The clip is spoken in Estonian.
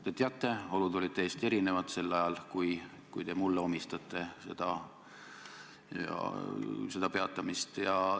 Te teate, et sel ajal, millega seoses te mulle seda peatamist omistate, olid olud täiesti erinevad.